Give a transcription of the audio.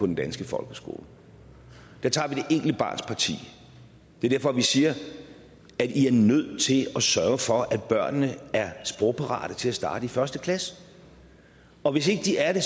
den danske folkeskole der tager vi det enkelte barns parti det er derfor vi siger i er nødt til at sørge for at børnene er sprogparate til at starte i første klasse og hvis ikke de er det